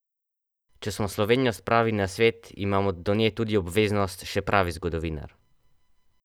Če smo Slovenijo spravili na svet, imamo do nje tudi obveznost, še pravi zgodovinar.